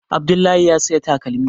Abdullahi ya saya takalmi